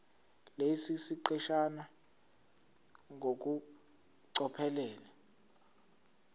lesi siqeshana ngokucophelela